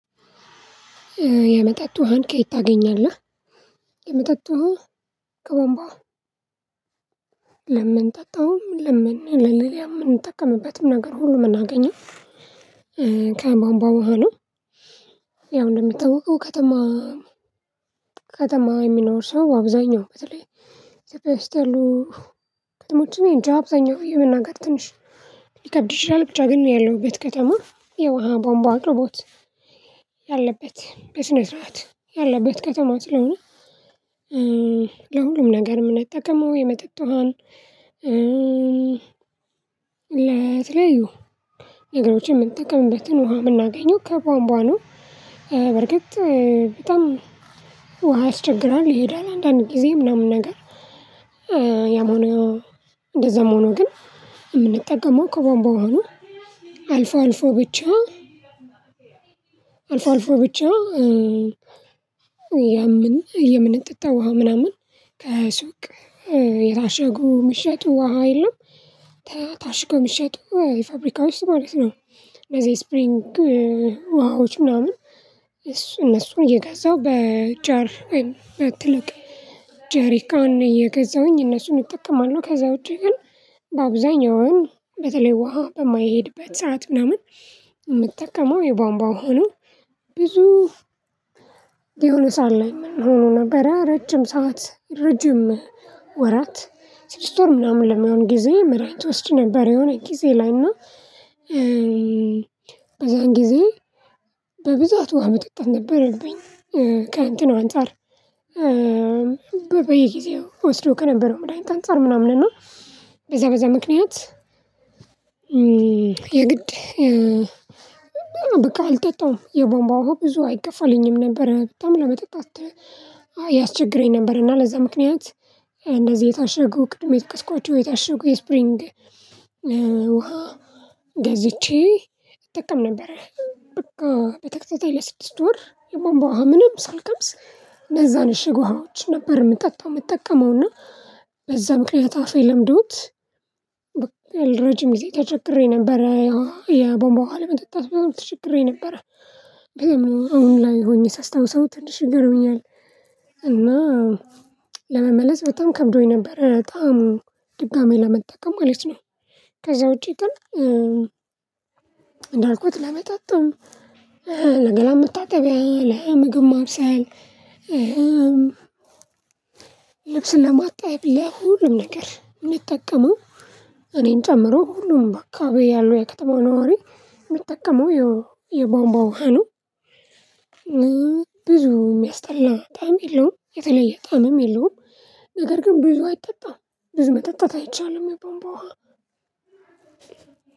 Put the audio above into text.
የመጠጥ ውሃን ከየት ታገኛለህ? የመጠጥ ውሃን ከቡአምባው ለምንጠጣውም ለምን ለሌላ የምንጠቀምበትም ነገር ሁሉ የምናገኘው ከቧምቧ ውሃ ነው። እንደሚታውቀው ከተማ ከተማ የሚኖር ሰው አብዛኛው በተለይ ኢትዮጵያ ውስጥ ያሉ ከተማው ጭምር አብዛኛው የመናገር ትንሽ ሊከብድ ይችላል ብቻ ግን ያለሁበት ከተማ የውሃ ቧንቧ አቅርቦት ያለበት በስነ ስርዓት ያለበት ከተማ ስለሆነ። ለሁሉም ነገር የምንጠቀመው የመጠጥ ውሃን ለተለያዩ ነገሮችን የምንጠቀምበትን ውሃ የምናገኘው ከቧንቧ ነው። በርግጥ በጣም ውሃ ያስቸግራል ይሄዳል አንዳንድ ጊዜ ምናምን ነገር ያሞነ እንደዛም ሆኖ ግን የምንጠቀመው ከቧንቧ ሆኖ አልፎ አልፎ ብቻ አልፎ አልፎ ብቻ የምን የምንጠጣ ውሃ ምናምን ከሱቅ የታሸጉ የሚሸጡ ውሃ የለም። ታሽገው የሚሸጡ የፋብሪካ ውስጥ ማለት ነው ለዚህ ስፕሪንግ ውሃዎች ምናምን እነሱን እየገዛው በጃር ወይም በትልቅ ጄሪካን እየገዛሁኝ እነሱን እጠቀማለሁ። ከዛ ውጪ ግን በአብዛኛው በተለይ ውሃ በማይሄድበት ሰዓት ምናምን የምጠቀመው የቧንቧ ውሃ ነው። ብዙ የሆነ ሰዓት ላይ ምን ሆኖ ነበረ ረጅም ሰዓት ረጅም ወራት ስድስት ወር ምናምን ለመሆን ጊዜ መርሃ ትወስድ ነበር። የሆነ ጊዜ ላይና በዛን ጊዜ በብዛት ውሃ መጠጣት ነበረብኝ። ከእንትኑ አንፃር በበየ ጊዜ እወስዶ ከነበረው መዳኒት አንፃር ምናምን እና በዛ በዛ ምክንያት። የግድ በቃ አልጠጣም የቧምቧው ብዙ አይገፋልኝም ነበር በጣም ለመጠጣት ያስቸግረኝ ነበር። እና ለዛ ምክንያት እንደዚህ የታሸጉ ቅድም የጠቀስዃቸው የታሸጉ የስፕሪንግ ውሃ ገዝቼ እጠቀም ነበር። በቃ በተከታታይ ለስድስት ወር የቧምቧ ምንም ሳልቀምስ እነዛን እሽግ ውሃዎች ነበር የምጠጣው። የምጠቀመውና በዛ ምክንያት አፍ ለምዶት ረጅም ጊዜ ተቸግሬ ነበር። የቦምቧ ለመጠጣት በጣም ተቸግሬ ነበር። አሁን ላይ ሆኜ ሳስታውሰው ትንሽ ይገርመኛል። እና ለመመለስ በጣም ከብዶኝ ነበር በጣም ድጋሚ ለመጠቀም ማለት ነው። ከዛ ውጪ ግን። እንዳልኩት ለመጠጥም ለገላ መታጠቢያ ለምግብ ማብሰያየም ልብስ ለማጠብ ለሁሉም ነገር የምጠቀመው እኔን ጨምሮ ሁሉም በአካባቢዬ ያለው የከተማው ነዋሪ የሚጠቀመው የቧንቧ ውሃ። ነው የሚያስጠላው በጣም የለውም የተለየ በጣምም የለውም። ነገር ግን ብዙ አይጠጣም ብዙ መጠጣት አይቻልም የቧምቧ ውሃ።